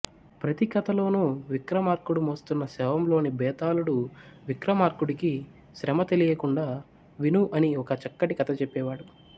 ప్రతి కథలోనూ విక్రమార్కుడు మోస్తున్న శవంలోని భేతాళుడు విక్రమార్కుడికి శ్రమ తెలియకుండా విను అని ఓ చక్కటి కథ చెప్పేవాడు